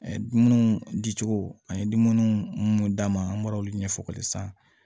Dumuniw di cogo an ye dumuniw mun d'an ma an bɔra olu ɲɛfɔli san